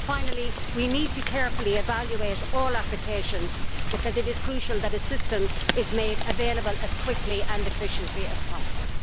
Finally, we need to carefully evaluate all applications because it is crucial that assistance is made available as quickly and efficiently as possible.